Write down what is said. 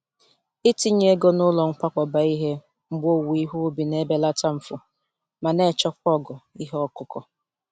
Itinye ego n’ụlọ nkwakọba ihe mgbe owuwe ihe ubi na-ebelata mfu ma na-echekwa ogo ihe ọkụkụ.